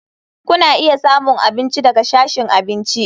Kuna iya samun abinci daga sashin abinci.